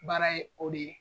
Baara ye o de ye.